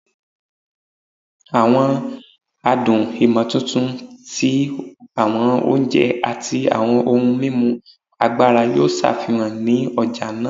Awọn adun imotuntun ti awọn oje ati awọn ohun mimu agbara yoo ṣafihan ni ọja naa